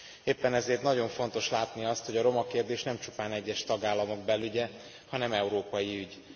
Éppen ezért nagyon fontos látni azt, hogy a roma kérdés nem csupán egyes tagállamok belügye, hanem európai ügy.